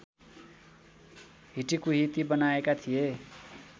हिटिकुहिती बनाएका थिए